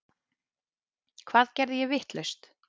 Hvað geri ég vitlaust?